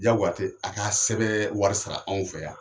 Diyagoya tɛ a ka sɛbɛnbɛ wari sara anw fɛ yan.